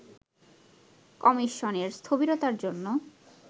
কমিশনের স্থবিরতার জন্য